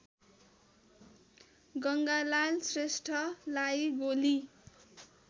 गङ्गालाल श्रेष्ठलाई गोली